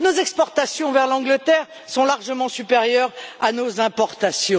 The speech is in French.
Nos exportations vers le Royaume Uni sont largement supérieures à nos importations.